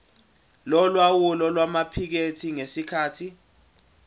yolawulo lwamaphikethi ngesikhathi